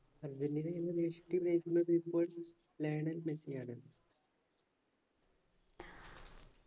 Argentina എന്ന ദേശീയ team നയിക്കുന്നത് ഇപ്പോൾ ലയണൽ മെസ്സിയാണ്